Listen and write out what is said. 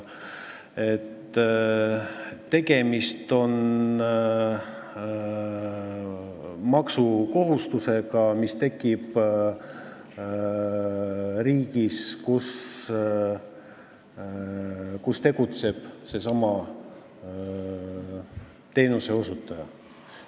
Tegemist on maksukohustusega, mis tekib riigis, kus tegutseb seesama teenuseosutaja.